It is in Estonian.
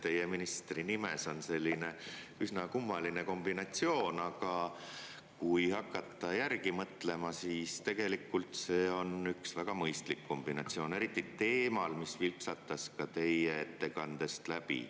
Teie ministrinimes on selline üsna kummaline kombinatsioon, aga kui hakata järgi mõtlema, siis tegelikult on see üks väga mõistlik kombinatsioon, eriti teemal, mis vilksatas ka teie ettekandest läbi.